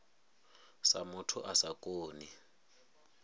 sa muthu a sa koni